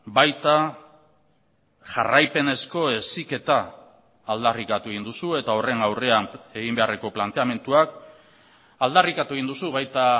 baita jarraipenezko heziketa aldarrikatu egin duzu eta horren aurrean egin beharreko planteamenduak aldarrikatu egin duzu baita